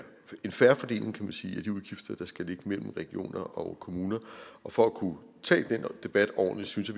en fair fordeling kan man sige af de udgifter der skal ligge mellem regioner og kommuner og for at kunne tage den debat ordentligt synes